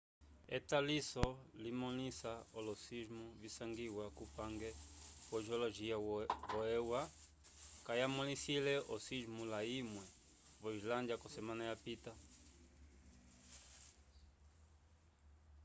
etaliso limõlisa olo-sismo visangiwa kupange wo-geologia vo-eua kayamõlisile osismo layimwe vo islândia k'osemana yapita